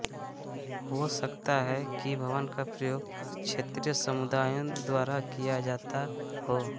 हो सकता है कि भवन का प्रयोग क्षेत्रीय समुदायों द्वारा किया जाता हो